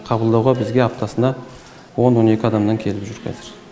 қабылдауға бізге аптасына он он екі адамнан келіп жүр қазір